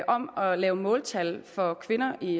om at lave måltal for kvinder i